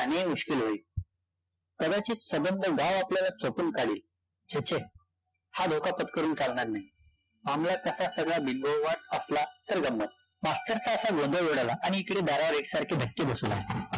त्यानी मुश्किल होईल, कदाचित सबंध गाव आपल्याला चोपून काढील, छे छे! हा धोका पत्करून चालणार नाही, कसा सगळा बिंबववाद असला तर जपावे, अक्षरशः असा गोंधळ उडाला आणि इकडे दारावर एकसारखे धक्के बसू लागले